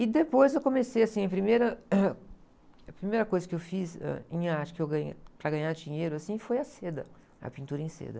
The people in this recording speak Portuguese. E depois eu comecei assim, a primeira, a primeira coisa que eu fiz, ãh, em arte, que eu ganhei, para ganhar dinheiro, assim, foi a seda, a pintura em seda.